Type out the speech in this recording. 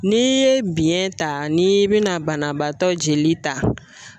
N'i ye biyɛn ta n'i bɛna banabaatɔ jeli ta